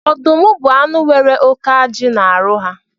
Ọdụm bu anụ nwere óké ajị na arụ ha